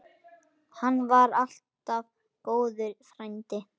Hann var alltaf góður frændi.